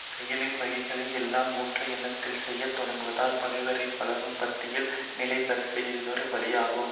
செயலின் வகைகளை எல்லாம் முற்ற எண்ணாமல் செய்யத்தொடங்குதல் பகைவரை வளரும் பாத்தியில் நிலைபெற செய்வதொரு வழியாகும்